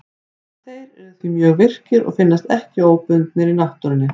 Þeir eru því mjög virkir og finnast ekki óbundnir í náttúrunni.